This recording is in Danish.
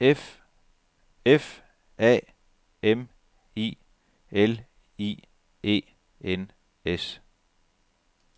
F A M I L I E N S